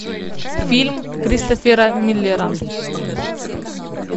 фильм кристофера миллера